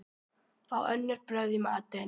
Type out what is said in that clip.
Fá önnur brögð í matinn.